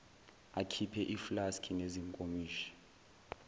akhiphe iflaski nezinkomishi